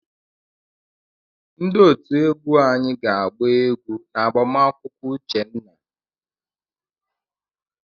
Ndị otú egwu anyị ga-agba egwu n'agbamakwụkwọ Uchenna.